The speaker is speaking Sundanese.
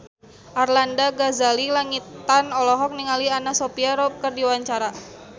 Arlanda Ghazali Langitan olohok ningali Anna Sophia Robb keur diwawancara